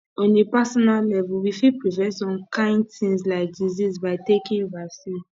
on a personal level we fit prevent some kimd things like disease by taking vaccine